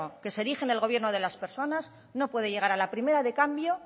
que se erige el gobierno de las personas no puede llegar a la primera de cambio